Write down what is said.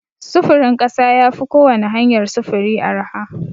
Sufurin ƙasa ya fi kowani hanyar sufuri arha.